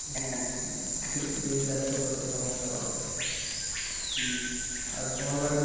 দিন যাচ্ছে তত সমস্যা বাড়বে আর তোমার বাড়ি